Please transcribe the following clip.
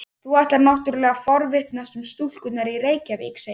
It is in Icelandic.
Þú ætlar náttúrlega að forvitnast um stúlkurnar í Reykjavík, segir hann.